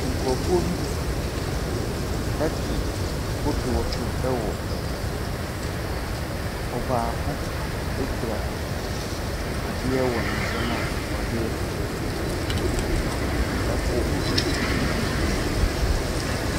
Nkurɔfoɔ bi te kodoɔ so wɔ po so, ɔbaako kura adeɛ wɔ ne nsamu a ɔde rekɔ po.